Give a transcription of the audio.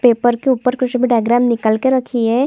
Paper के ऊपर कुछ भी डायग्राम निकल के रखी है।